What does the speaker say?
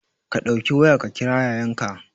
Ka ɗauki waya ka kira Yayanka